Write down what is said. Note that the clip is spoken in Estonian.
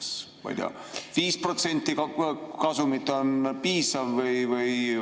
Kas, ma ei tea, 5% kasumit on piisav?